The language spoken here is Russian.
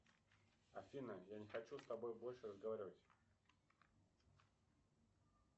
афина я не хочу с тобой больше разговаривать